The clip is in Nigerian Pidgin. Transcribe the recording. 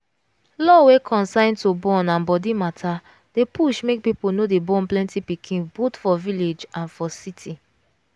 law wey concern to born and body matter dey push make people no dey born plenty pikin both for village and for city.